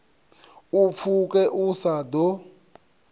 u pfuke u sa ḓo